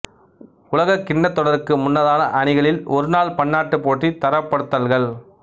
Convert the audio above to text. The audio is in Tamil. உலகக்கிண்ணத் தொடருக்கு முன்னதான அணிகளில் ஒருநாள் பன்னாட்டு போட்டி தரப்படுத்தல்கள்